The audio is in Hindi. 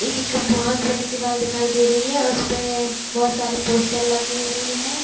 एक बहुत बड़ी दीवाल दिखाई दे रही है और उस पे बहुत सारे पोस्टर लगे हुए है।